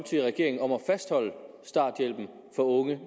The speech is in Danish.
regeringen om at fastholde starthjælpen for unge